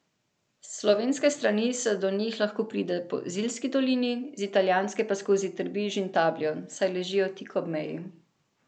S slovenske strani se do njih lahko pride po Ziljski dolini, z italijanske pa skozi Trbiž in Tabljo, saj ležijo tik ob meji.